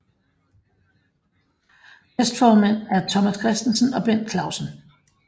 Næstformænd er Thomas Christensen og Bent Clausen